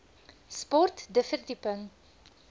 sport de verdieping